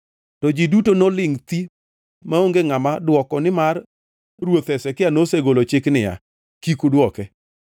To ji duto nolingʼ thi maonge ngʼama dwoko nimar ruoth Hezekia nosegolo chik niya, “Kik udwoke.”